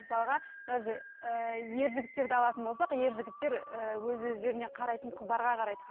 мысалға даже ы ер жігіттерді алатын болсақ ер жігіттер ы өз өздеріне қарайтын қыздарға қарайды